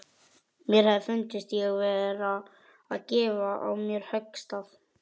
Mér hefði fundist ég vera að gefa á mér höggstað.